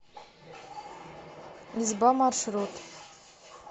изба маршрут